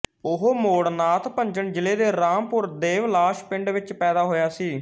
ਉਹ ਮੌੜ ਨਾਥ ਭੰਜਨ ਜ਼ਿਲ੍ਹੇ ਦੇ ਰਾਮਪੁਰ ਦੇਵਲਾਸ ਪਿੰਡ ਵਿੱਚ ਪੈਦਾ ਹੋਇਆ ਸੀ